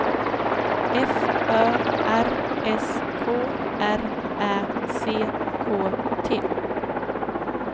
F Ö R S K R Ä C K T